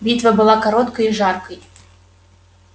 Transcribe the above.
битва была короткой и жаркой